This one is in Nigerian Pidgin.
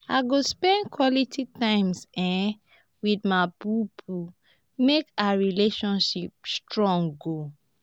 i go spend quality time um wit my bobo make our relationship strong.